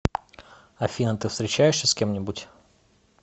афина ты встречаешься с кем нибудь